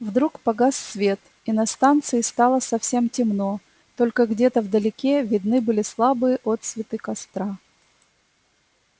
вдруг погас свет и на станции стало совсем темно только где-то вдалеке видны были слабые отсветы костра